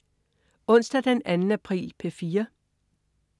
Onsdag den 2. april - P4: